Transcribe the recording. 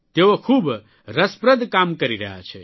તેઓ ખૂબ રસપ્રદ કામ કરી રહ્યા છે